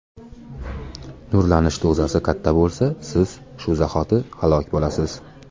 Nurlanish dozasi katta bo‘lsa, siz shu zahoti halok bo‘lasiz.